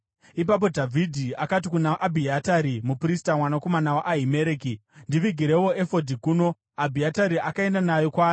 Ipapo Dhavhidhi akati kuna Abhiatari muprista, mwanakomana waAhimereki, “Ndivigirewo efodhi kuno.” Abhiatari akaenda nayo kwaari,